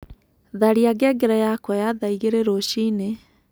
tharĩa ngengere yakwa ya thaa ĩgĩrĩ rũcĩĩnĩ